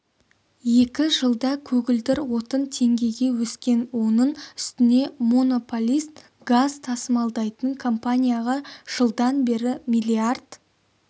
екі жылда көгілдір отын теңгеге өскен оның үстіне монополист газ тасымалдайтын компанияға жылдан бері миллиард